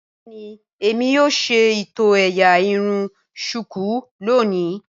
Bẹẹni Emi yoo ṣe itọ éyá irun shuku loni.